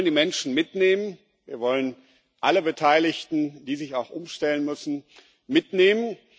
Wir wollen die Menschen mitnehmen, wir wollen alle Beteiligten, die sich auch umstellen müssen, mitnehmen.